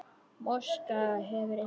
Moskva hefur eitt.